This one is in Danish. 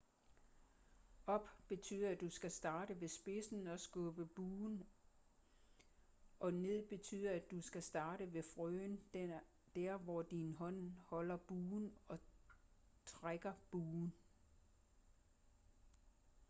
op betyder at du skal starte ved spidsen og skubbe buen og ned betyder at du skal starte ved frøen der hvor din hånd holder buen og trække buen